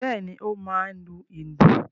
Bẹ́ẹ̀ ni, ó máa ń lu ìlù.